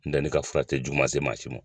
N tɛ ne ka fura tɛ juguma se maa si ma.